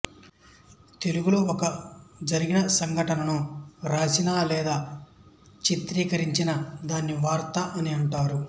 తెలుగు లో ఒక జరిగిన సంఘటన ను రాసిన లేదా చేతిరికరిచిన దాన్ని వార్త అని అంటారు